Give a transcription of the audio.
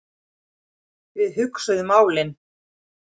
Við hugsuðum málin.